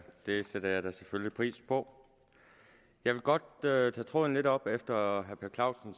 det sætter jeg selvfølgelig pris på jeg vil godt tage tråden lidt op efter herre per clausen